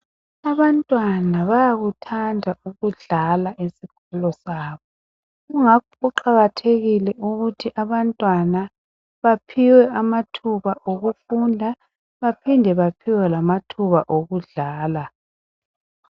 Abantwana bayakuthanda ukudlala esikolo sabo kungakho kuqakathekile ukuthi abantwana baphiwe amathuba okufunda baphinde baphiwe lamathuba okudlala.